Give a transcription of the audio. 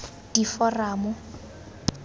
diforamo